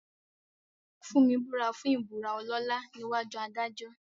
Funmi búra fún ìbúra ọlọ́lá níwájú adájọ́.